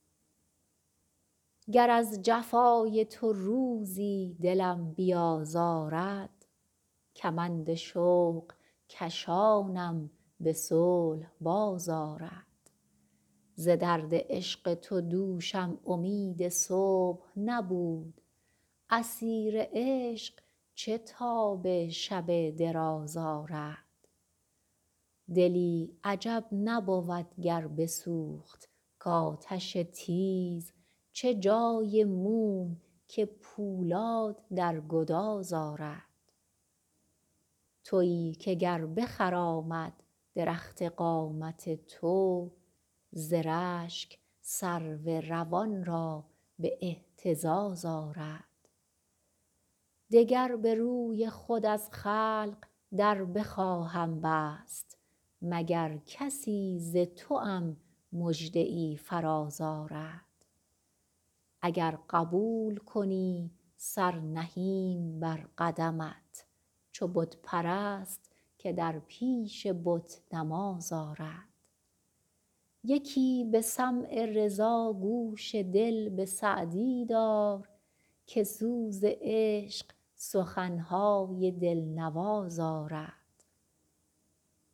گر از جفای تو روزی دلم بیازارد کمند شوق کشانم به صلح باز آرد ز درد عشق تو دوشم امید صبح نبود اسیر عشق چه تاب شب دراز آرد دلی عجب نبود گر بسوخت کآتش تیز چه جای موم که پولاد در گداز آرد تویی که گر بخرامد درخت قامت تو ز رشک سرو روان را به اهتزاز آرد دگر به روی خود از خلق در بخواهم بست مگر کسی ز توام مژده ای فراز آرد اگر قبول کنی سر نهیم بر قدمت چو بت پرست که در پیش بت نماز آرد یکی به سمع رضا گوش دل به سعدی دار که سوز عشق سخن های دل نواز آرد